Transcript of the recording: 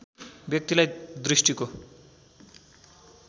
व्यक्तिलाई दृष्टिको